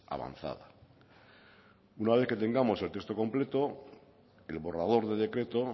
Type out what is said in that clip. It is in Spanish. avanzada una vez que tengamos el texto completo el borrador de decreto